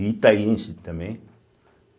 E itaiense também.